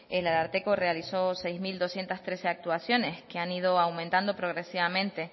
el ararteko realizó seis mil doscientos trece actuaciones que han ido aumentando progresivamente